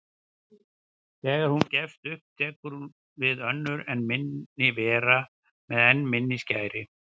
Þegar hún gefst upp tekur við önnur enn minni vera með enn minni skæri.